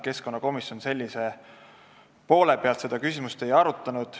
Keskkonnakomisjon selle poole pealt seda küsimust ei arutanud.